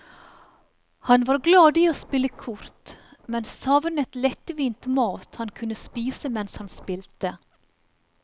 Han var glad i å spille kort, men savnet lettvint mat han kunne spise mens hans spilte.